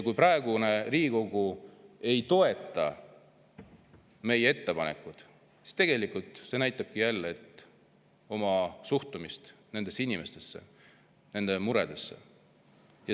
Kui praegune Riigikogu ei toeta meie ettepanekut, siis see näitabki jälle suhtumist inimestesse ja nende muredesse.